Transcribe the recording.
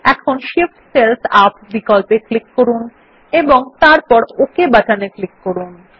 এখন Shift cells up বিকল্পে click করুন এবং তারপর ওক বাটনে ক্লিক করুন